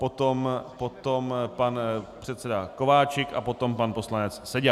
Potom pan předseda Kováčik a potom pan poslanec Seďa.